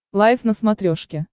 лайф на смотрешке